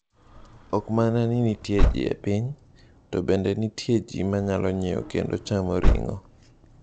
Ok mana ni nitie ji e piny - to bende nitie ji ma nyalo nyiewo kendo chamo ring’o.